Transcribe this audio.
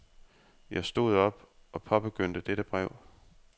Jeg stod op og påbegyndte dette brev.